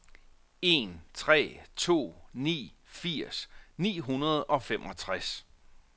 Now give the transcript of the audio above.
en tre to ni firs ni hundrede og femogtres